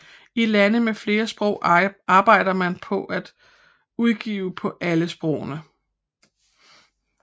I lande med flere sprog arbejder man for at udgive på alle sprogene